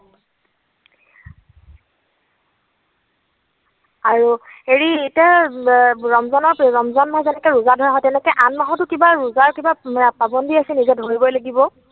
আৰু, হেৰি এতিয়া ৰমজানত, ৰমজান মাহত যেনেকৈ ৰোজা ধৰা হয় তেনেকৈ আন মাহতো কিবা ৰোজাৰ কিবা পাবন্ধী আছে নেকি যে ধৰিবই লাগিব।